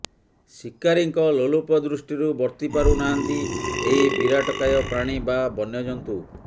ଶୀକାରୀଙ୍କ ଲୋଲୁପ ଦୃଷ୍ଟିରୁ ବର୍ତ୍ତି ପାରୁନାହାନ୍ତି ଏହି ବିରାଟକାୟ ପ୍ରାଣୀ ବା ବନ୍ୟଜନ୍ତୁ